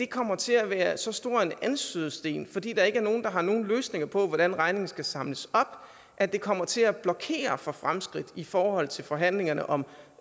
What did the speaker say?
kommer til at være så stor en anstødssten fordi der ikke er nogen der har nogen løsninger på hvordan regningen skal samles op at det kommer til at blokere for fremskridt i forhold til forhandlingerne om